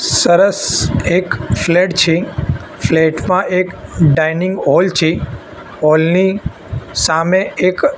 સરસ એક ફ્લેટ છે ફ્લેટ માં એક ડાઈનિંગ હોલ છે હોલ ની સામે એક--